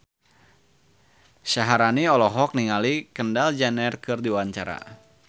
Syaharani olohok ningali Kendall Jenner keur diwawancara